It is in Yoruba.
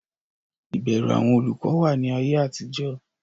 ìbẹrù àwọn olùkọ wà ní ayé àtijọ́.